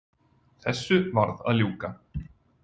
Þessu varð að ljúka.